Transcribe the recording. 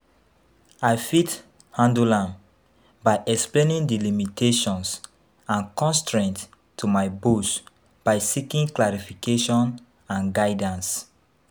I fit handle am by explaining di limitations and constraints to my boss by seeking clarification and guidance.